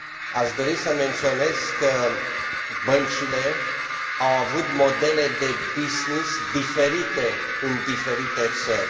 Aș dori să menționez că băncile au avut modele de business diferite în diferite țări.